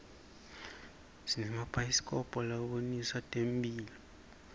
simabhayisikobho labonisa temphilo